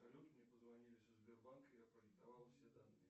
салют мне позвонили со сбербанка я продиктовал все данные